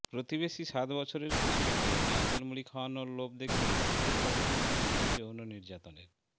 প্রতিবেশী সাত বছরের কিশোরীকে নারকেল মুড়ি খাওয়ানোর লোভ দেখিয়ে নিজের বাড়িতে নিয়ে গিয়ে যৌন নির্যাতনের